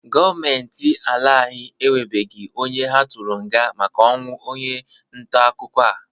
Gọọmenti ala anyị enwebeghi onye ha tụrụ nga maka ọnwụ onye ntaakụkọ a.